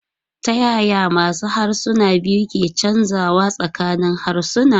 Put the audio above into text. Ta yaya masu harsuna biyu ke canzawa tsakanin harsuna?